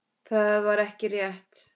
Það var ekki rétt.